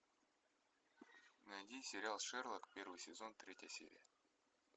найди сериал шерлок первый сезон третья серия